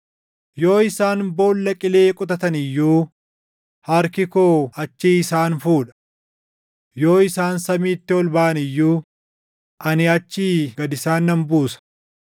Yoo isaan boolla qilee qotatan iyyuu harki koo achii isaan fuudha. Yoo isaan samiitti ol baʼan iyyuu ani achii gad isaan nan buusa.